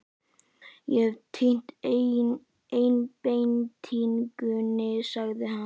Ég hef týnt einbeitingunni, sagði hann.